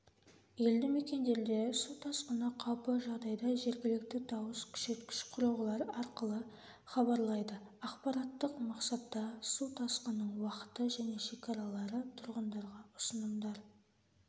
елді мекендерде су тасқыны қаупі жағдайда жергілікті дауыс күшейткіш құрылғылар арқылы хабарлайды ақпараттық мақсатта су тасқынының уақыты және шекаралары тұрғындарға ұсынымдар